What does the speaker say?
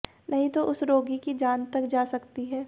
नहीं तो उस रोगी की जान तक जा सकती है